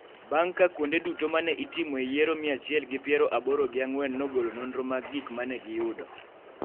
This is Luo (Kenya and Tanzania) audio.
bang� ka kuonde duto ma ne itimoe yiero mia achiel gi piero aboro gi ang'wen nogolo nonro mag gik ma ne giyudo.